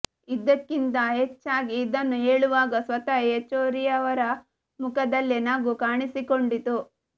ಇದಕ್ಕಿಂತ ಹೆಚ್ಚಾಗಿ ಇದನ್ನು ಹೇಳುವಾಗ ಸ್ವತಃ ಯೆಚೂರಿಯವರ ಮುಖದಲ್ಲೇ ನಗು ಕಾಣಿಸಿಕೊಂಡಿತು